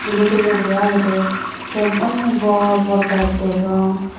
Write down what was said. dulo dulo guri agede te undi bor bor gach degong.